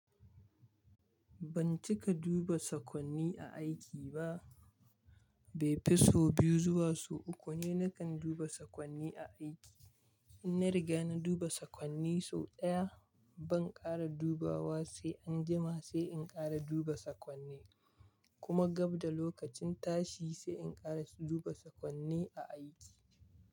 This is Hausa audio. Ban cika duba sakonni a aiki ba. Bai fi so biyu zuwa so uku ne nakan duba sakonni a aiki. In na riga na duba sakonni sau ɗaya, ban ƙara dubawa sai an jima sai in ƙara duba sakonni. Kuma gab da lokacin tashi sai in ƙara duba sakonni a aiki.